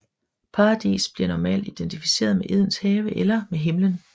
Paradis bliver normalt identificeret med Edens have eller med Himmelen